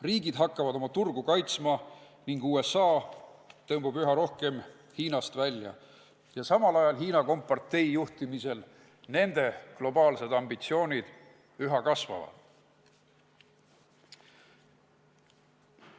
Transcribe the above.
Riigid hakkavad oma turgu kaitsma ning USA tõmbub üha rohkem Hiinast välja, samal ajal Hiina kompartei juhtimisel selle riigi globaalsed ambitsioonid üha kasvavad.